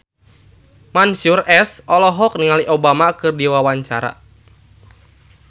Mansyur S olohok ningali Obama keur diwawancara